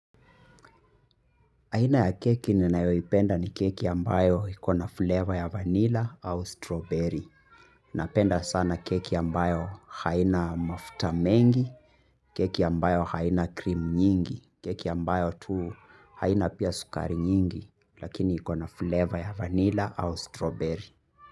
Aina ya keki ninayoipenda ni keki ambayo iko na flavor ya vanilla au strawberry. Napenda sana keki ambayo haina mafuta mengi, keki ambayo haina cream nyingi, keki ambayo tu haina pia sukari nyingi, lakini iko na flavor ya vanilla au strawberry.